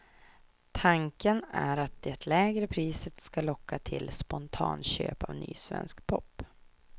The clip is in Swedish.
Tanken är att det lägre priset ska locka till spontanköp av ny svensk pop.